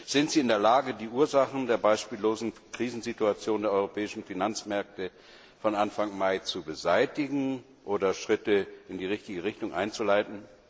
Sind sie in der Lage, die Ursachen der beispiellosen Krisensituation der europäischen Finanzmärkte von Anfang Mai zu beseitigen oder Schritte in die richtige Richtung einzuleiten?